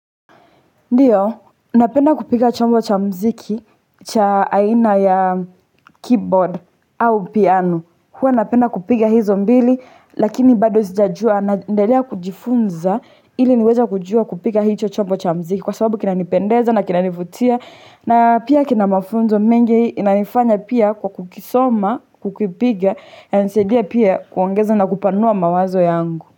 Ndio, napenda kupiga chombo cha mziki, cha aina ya keyboard au piano. Huwa napenda kupiga hizo mbili, lakini bado sijajua naendelea kujifunza ili niweza kujua kupiga hicho chombo cha mziki. Kwa sababu kinanipendeza na kinanifutia na pia kina mafunzo mengi. Inanifanya pia kwa kukisoma, kukipiga, yanisaidia pia kuongeza na kupanua mawazo yangu.